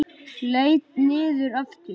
Leit niður aftur.